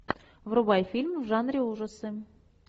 врубай фильм в жанре ужасы